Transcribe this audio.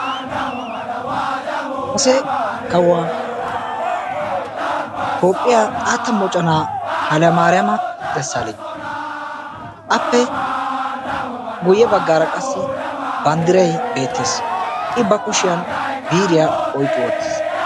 Kase kawuwa tophphiya xaatta moconaa hayilemariyama desalegna. Appe guyye baggaara qassi banddiray beettes. I bakushiyan biiriya oyiqqi wottis.